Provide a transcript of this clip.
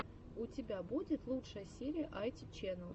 у тебя будет лучшая серия айти чэнэл